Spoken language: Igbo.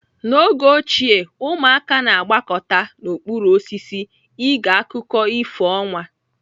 N'oge ochie ụmụaka na-agbakọta n'okpuru osisi ege akụkọ ifo ọnwa.